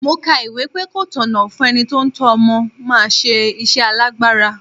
Mo ka ìwé pé ko tọ̀nà fún ẹni tí ó ń tọ́ ọmọ máa ṣe iṣẹ́ alágbára.